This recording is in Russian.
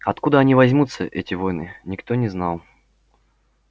откуда они возьмутся эти воины никто не знал